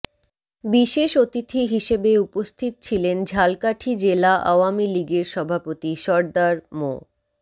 বিশেষ অতিথি হিসেবে উপস্থিত ছিলেন ঝালকাঠি জেলা আওয়ামী লীগের সভাপতি সরদার মো